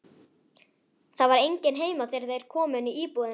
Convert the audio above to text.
Það var enginn heima þegar þeir komu inn í íbúðina.